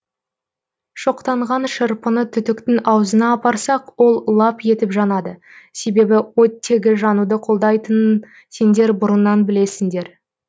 шоқтанған шырпыны түтіктің аузына апарсақ ол лап етіп жанады себебі оттегі жануды қолдайтынын сендер бұрыннан білесіңдер